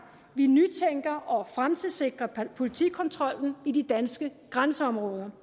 vi nytænker og fremtidssikrer politikontrollen i de danske grænseområder